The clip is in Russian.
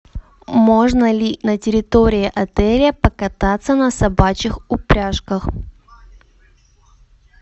можно ли на территории отеля покататься на собачьих упряжках